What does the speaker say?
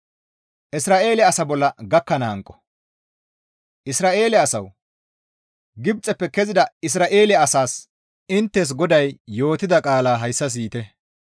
Isra7eele asawu! Gibxeppe kezida Isra7eele asaas inttes GODAY yootida qaala hayssa siyite.